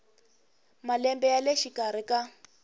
malembe ya le xikarhi ka